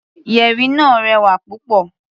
Yẹ̀rì náà rẹwà púpọ̀.